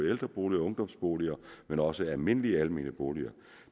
ældreboliger og ungdomsboliger men også almindelige almene boliger